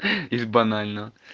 из банального